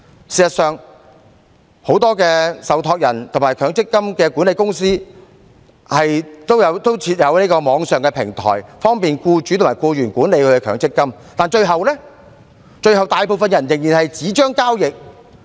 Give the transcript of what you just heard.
事實上，很多受託人和強積金管理公司也設有網上平台，方便僱主和僱員管理其強積金，但最後大部分人仍然以紙張交易。